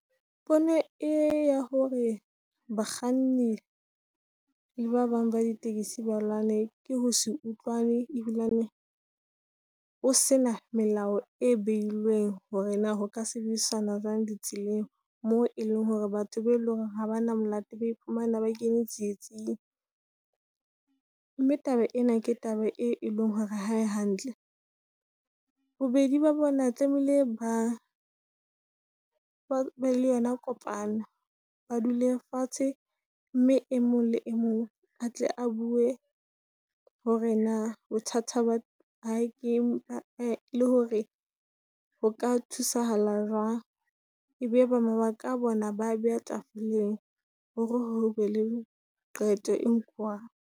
Pono e ya hore bakganni le ba bang ba di tekesi ba lwane ke ho se utlwane, ebilane ho sena melao e beilweng hore na ho ka sebedisana jwang di tseleng. Moo e leng hore batho be leng ha ba na molao ba iphumana ba kenya tsietsing. Mme taba ena ke taba e leng hore ha e hantle. Bobedi ba bona tlameile ba , ba be le yona kopano. Ba dule fatshe, mme e mong le e mong a tle a bue hore na bothata ha ke le hore ho ka thusahala jwang. E be e be mabaka a bona ba a beha tafoleng hore hobe le qeto e nkuwang.